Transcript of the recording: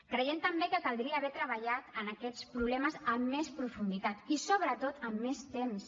creiem també que caldria haver treballat en aquests problemes amb més profunditat i sobretot amb més temps